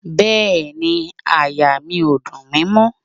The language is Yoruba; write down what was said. Bẹ́ẹ̀ni, àyà mi ò dùn mi mọ́